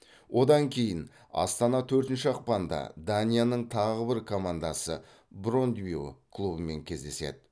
одан кейін астана төртінші ақпанда данияның тағы бір командасы брондбю клубымен кездеседі